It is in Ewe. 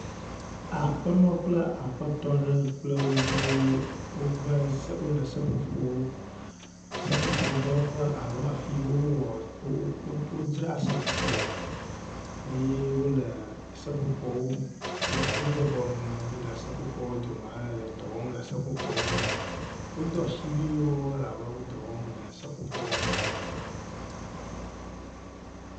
Aƒenɔ kpe aƒetɔ ɖe kple woviwo wove wole seƒoƒo seƒoƒodɔwɔƒe alo afi yi wowoa oo wodzraa seƒoƒo le eye wole seƒoƒo wobɔbɔ nɔ anyi le seƒoƒoa dome hele dɔ wɔm le seƒoƒoa ŋu. Wodo asiwuiwo elabe wo dɔ wɔm le seƒoƒoa ŋu le anyigba.